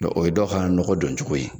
Dɔn o ye dɔw ka nɔgɔ don cogo ye